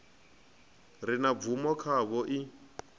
re na bvumo khavho i